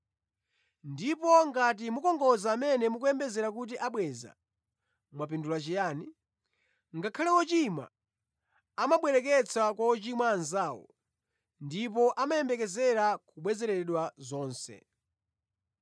Ndipo ngati mukongoza amene mukuyembekeza kuti abweza, mwapindula chiyani? Ngakhale ‘ochimwa’ amabwereketsa kwa ochimwa anzawo, ndipo amayembekezera kubwezeredwa zonse.